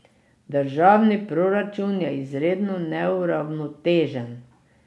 Državni proračun je izredno neuravnotežen.